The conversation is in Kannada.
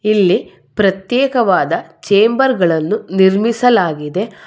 ಇಲ್ಲಿ ಪ್ರತ್ಯೇಕವಾದ ಚೇಂಬರ್ ಗಳನ್ನು ನಿರ್ಮಿಸಲಾಗಿದೆ.